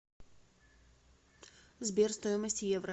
сбер стоимость евро